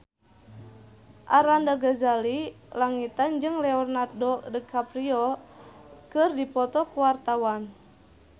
Arlanda Ghazali Langitan jeung Leonardo DiCaprio keur dipoto ku wartawan